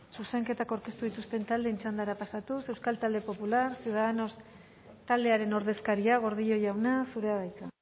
zuzenketak aurkeztu dituzten taldeen txandara pasatuz euskal talde popular ciudadanos taldearen ordezkaria gordillo jauna zurea da hitza